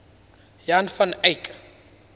jan van eyck